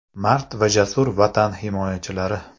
Mard va jasur Vatan himoyachilari!